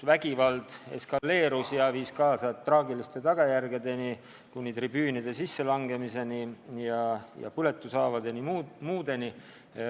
Vägivald eskaleerus ja see viis traagiliste tagajärgedeni: tribüünide sisselangemiseni, põletushaavade saamiseni ja muu selliseni.